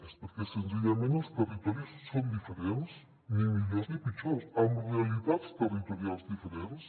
és perquè senzillament els territoris són diferents ni millors ni pitjors amb realitats territorials diferents